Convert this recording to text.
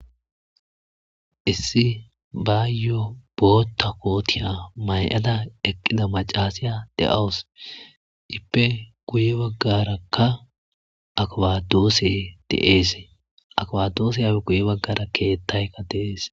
Issi baayyoo bootta kootiya may7ada eqqida macaasiya de7awus ippe guye baggarakka akwadoose deeese akwadoose yape guye baggara keettaykka deees.